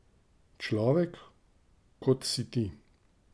Človek, kot si ti.